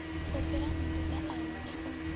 phophi rammbuda a hana u